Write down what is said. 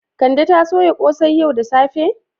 Kande ta soya kosai yau da safe?